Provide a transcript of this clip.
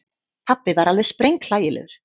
Pabbi var alveg sprenghlægilegur.